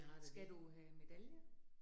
Skal du have medalje?